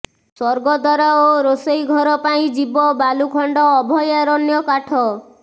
ସ୍ୱର୍ଗଦ୍ୱାର ଓ ରୋଷଘର ପାଇଁ ଯିବ ବାଲୁଖଣ୍ଡ ଅଭୟାରଣ୍ୟ କାଠ